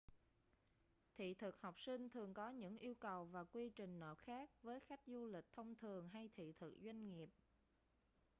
thị thực học sinh thường có những yêu cầu và quy trình nộp khác với khách du lịch thông thường hay thị thực doanh nghiệp